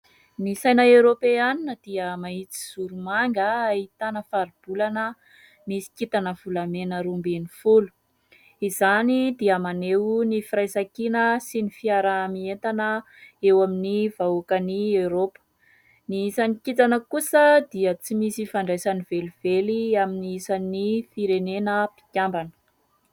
Ny saina eropeanina dia mahitsizoro manga ahitana faribolana misy kintana volamena roa ambin'ny folo. Izany dia maneho ny firaisankina sy ny fiarahamientana eo amin'ny vahoakan'ny Eropa. Ny isan'ny kintana kosa dia tsy misy ifandraisany velively amin'ny isan'ny firenena mpikambana.